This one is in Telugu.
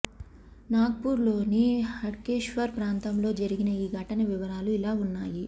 నాగ్ పూర్ లోని హడ్కేశ్వర్ ప్రాంతంలో జరిగిన ఈ ఘటన వివరాలు ఇలా ఉన్నాయి